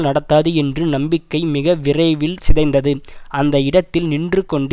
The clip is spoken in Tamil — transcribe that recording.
நடத்தாது என்று நம்பிக்கை மிக விரைவில் சிதைந்தது அந்த இடத்தில் நின்று கொண்டு